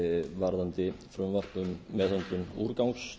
varðandi frumvarp um meðhöndlun úrgangs